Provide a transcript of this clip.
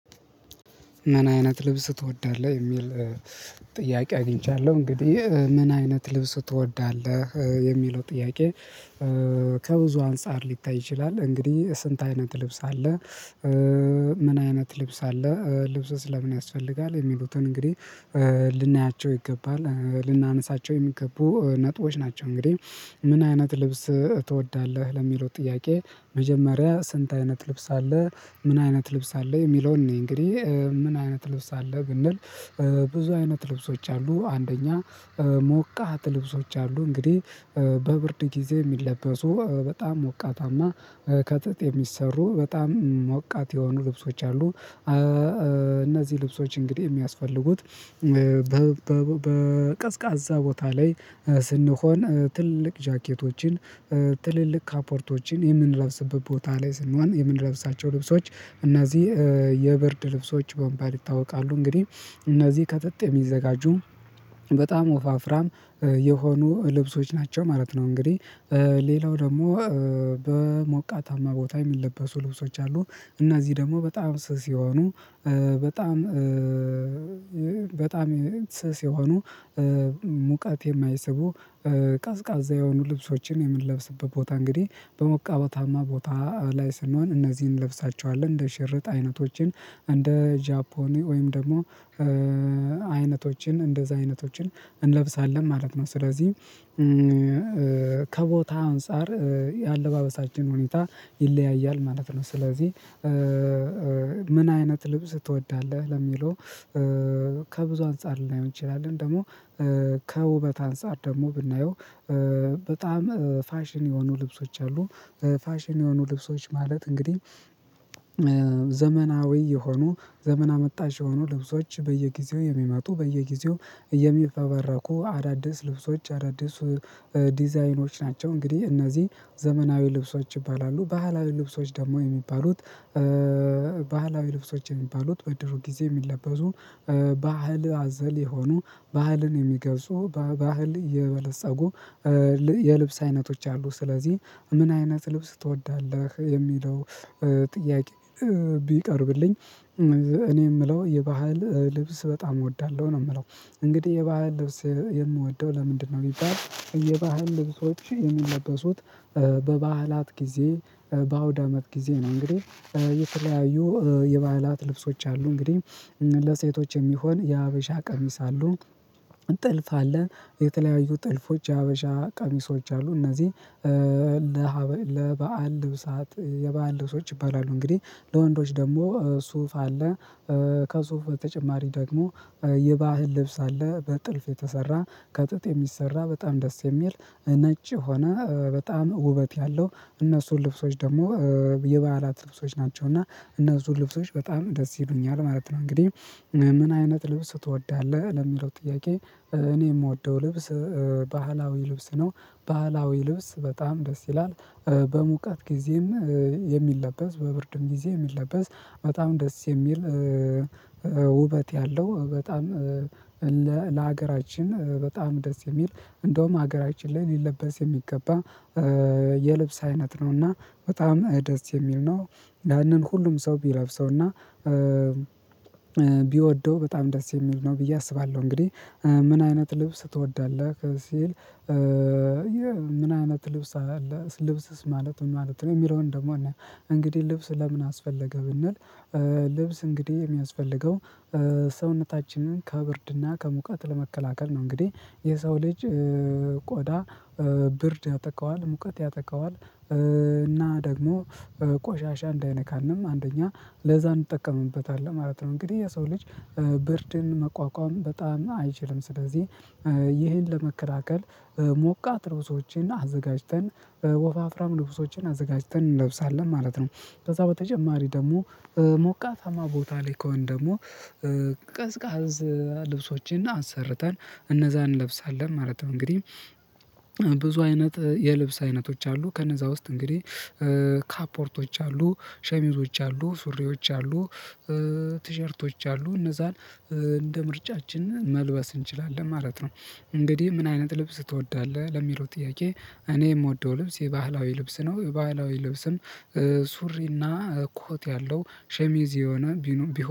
ምን አይነት ልብስ ትወዳለህ የሚል ጥያቄ አግኝቻለሁ እንግዲህ ምን አይነት ልብስ ትወዳለህ? የሚለው ጥያቄ ከብዙ አንፃር ሊታይ ይችላል። እንግዲህ ስንት አይነት ልብስ አለ። ምን አይነት ልብስ አለ ልብስ ስለ ምን ያስፈልጋል? የሚሉትን እንግዲህ ልናያቸው ይገባል ልናነሳቸው የሚገቡ ነጥቦች ናቸው። እንግዲህ ምን አይነት ልብስ ትወዳለህ? ለሚለው ጥያቄ መጀመሪያ ስንት አይነት ልብስ አለ ምን አይነት ልብስ አለ የሚለውን እንይ እንግዲህ ምን አይነት ልብስ አለ? ብንል ብዙ አይነት ልብሶች አሉ። አንደኛ ሞቃት ልብሶች አሉ። እንግዲህ በብርድ ጊዜ የሚለበሱ በጣም ሞቃታማ ከጥጥ የሚሰሩ በጣም ሞቃት የሆኑ ልብሶች አሉ። እነዚህ ልብሶች እንግዲህ የሚያስፈልጉት በቀዝቃዛ ቦታ ላይ ስንሆን ትልልቅ ጃኬቶችን ትልልቅ ካፖርቶችን የምንለብስበት ቦታ ላይ ስንሆን የምንለብሳቸው ልብሶች እና እዚህ የብርድ ልብሶች በመባል ይታወቃሉ። እንግዲህ እነዚህ ከጥጥ የሚዘጋጁ በጣም ወፋፍራም የሆኑ ልብሶች ናቸው ማለት ነው። እንግዲህ ሌላው ደግሞ በሞቃታማ ቦታ የሚለበሱ ልብሶች አሉ። እነዚህ ደግሞ በጣም ስስ የሆኑ በጣም በጣም ስስ የሆኑ ሙቀት የማይስቡ ቀዝቃዛ የሆኑ ልብሶችን የምንለብስበት ቦታ እንግዲህ በሞቃታማ ቦታ ላይ ስንሆን እነዚህን እንለብሳቸዋለን። እንደ ሽርጥ አይነቶችን እንደ ጃፖኒ ወይም ደግሞ አይነቶችን እንደዛ አይነቶችን እንለብሳለን ማለት ነው። ስለዚህ ከቦታ አንፃር የአለባበሳችን ሁኔታ ይለያያል ማለት ነው። ስለዚህ ምን አይነት ልብስ ትወዳለህ? ለሚለው ከብዙ አንፃር ላይሆን ይችላል። ግን ደግሞ ከውበት አንፃር ደግሞ ብናየው በጣም ፋሽን የሆኑ ልብሶች አሉ። ፋሽን የሆኑ ልብሶች ማለት እንግዲህ ዘመናዊ የሆኑ ዘመን አመጣሽ የሆኑ ልብሶች በየጊዜው የሚመጡ በየጊዜው የሚፈበረኩ አዳዲስ ልብሶች አዳዲስ ዲዛይኖች ናቸው። እንግዲህ እነዚህ ዘመናዊ ልብሶች ይባላሉ። ባህላዊ ልብሶች ደግሞ የሚባሉት ባህላዊ ልብሶች የሚባሉት በድሮ ጊዜ የሚለበሱ ባህል አዘል የሆኑ ባህልን የሚገልጹ በባህል የበለፀጉ የልብስ አይነቶች አሉ። ስለዚህ ምን አይነት ልብስ ትወዳለህ? ለሚለው ጥያቄ ቢቀርብልኝ እኔ የምለው የባህል ልብስ በጣም እወዳለሁ ነው የምለው። እንግዲህ የባህል ልብስ የምወደው ለምንድነው? ቢባል የባህል ልብሶች የሚለበሱት በባህላት ጊዜ በአውድ አመት ጊዜ ነው። እንግዲህ የተለያዩ የባህላት ልብሶች አሉ። እንግዲህ ለሴቶች የሚሆን የሀበሻ ቀሚስ አሉ። ጥልፍ አለ። የተለያዩ ጥልፎች የሀበሻ ቀሚሶች አሉ እነዚህ ለበአል ልብሳት የበአል ልብሶች ይባላሉ። እንግዲህ ለወንዶች ደግሞ ሱፍ አለ። ከሱፍ በተጨማሪ ደግሞ የባህል ልብስ አለ በጥልፍ የተሰራ ከጥጥ የሚሰራ በጣም ደስ የሚል ነጭ የሆነ በጣም ውበት ያለው እነሱ ልብሶች ደግሞ የበዓላት ልብሶች ናቸው። እና እነሱ ልብሶች በጣም ደስ ይሉኛል ማለት ነው። እንግዲህ ምን አይነት ልብስ ትወዳለህ? ለሚለው ጥያቄ እኔ የምወደው ልብስ ባህላዊ ልብስ ነው። ባህላዊ ልብስ በጣም ደስ ይላል። በሙቀት ጊዜም የሚለበስ በብርድም ጊዜ የሚለበስ በጣም ደስ የሚል ውበት ያለው በጣም ለሀገራችን በጣም ደስ የሚል እንደውም ሀገራችን ላይ ሊለበስ የሚገባ የልብስ አይነት ነውና በጣም ደስ የሚል ነው። ያንን ሁሉም ሰው ቢለብሰውና ቢወደው በጣም ደስ የሚል ነው ብዬ አስባለሁ። እንግዲህ ምን አይነት ልብስ ትወዳለህ? ሲል ምን አይነት ልብስ አለ ልብስስ ማለት ማለት ነው። የሚለውን ደግሞ እንግዲህ ልብስ ለምን አስፈለገ? ብንል ልብስ እንግዲህ የሚያስፈልገው ሰውነታችንን ከብርድና ከሙቀት ለመከላከል ነው። እንግዲህ የሰው ልጅ ቆዳ ብርድ ያጠቃዋል ሙቀት ያጠቃዋል። እና ደግሞ ቆሻሻ እንዳይነካንም አንደኛ ለዛ እንጠቀምበታለን ማለት ነው። እንግዲህ የሰው ልጅ ብርድን መቋቋም በጣም አይችልም። ስለዚህ ይሄን ለመከላከል ሞቃት ልብሶችን አዘጋጅተን ወፋፍራም ልብሶችን አዘጋጅተን እንለብሳለን ማለት ነው። ከዛ በተጨማሪ ደግሞ ሞቃታማ ቦታ ላይ ከሆንን ደግሞ ቀዝቃዛ ልብሶችን አሰርተን እነዛን እንለብሳለን ማለት ነው። እንግዲህ ብዙ አይነት የልብስ አይነቶች አሉ። ከነዛ ውስጥ እንግዲህ ካፖርቶች አሉ ሸሚዞች አሉ ሱሪዎች አሉ። ቲሸርቶች አሉ እነዛን እንደ ምርጫችን መልበስ እንችላለን ማለት ነው። እንግዲህ ምን አይነት ልብስ ትወዳለህ? ለሚለው ጥያቄ እኔ የምወደው ልብስ የባህላዊ ልብስ ነው። ባህላዊ ልብስም ሱሪና ኮት ያለው ሸሚዝ የሆነ ቢሆን